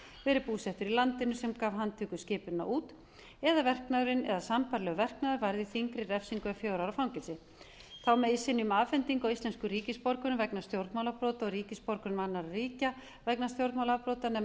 verið búsettur í landinu sem gaf handtökuskipunina út eða verknaðurinn eða sambærilegur verknaður varði þyngri refsingu en fjögurra ára fangelsi þá megi synja um afhendingu á íslenskum ríkisborgurum vegna stjórnmálabrota og ríkisborgurum annarra ríkja vegna stjórnmálaafbrota nema